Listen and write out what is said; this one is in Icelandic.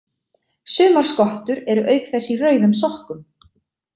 Sumar skottur eru auk þess í rauðum sokkum.